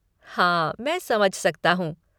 हाँ मैं समझ सकता हूँ।